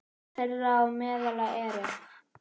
Þeirra á meðal eru